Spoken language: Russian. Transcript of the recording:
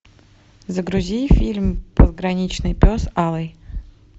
загрузи фильм пограничный пес алый